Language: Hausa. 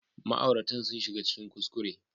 Ma'auratan sun shiga cikin kuskure